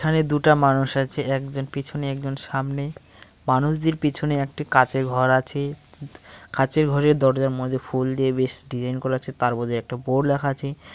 এখানে দুটা মানুষ আছে একজন পিছনে একজন সামনে মানুষদের পিছনে একটি কাঁচের ঘর আছে কাচের ঘরের দরজার মধ্যে ফুল দিয়ে বেশ ডিজাইন করা আছে তার মধ্যে একটা বোর্ড লেখা আছে।